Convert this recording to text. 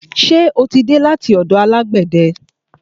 Ṣe o tí dé láti ọ̀dọ̀ alágbẹ̀de?